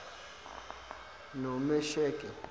nomesheke